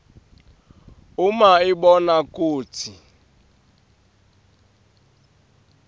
uma ibona kutsi